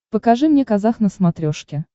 покажи мне казах на смотрешке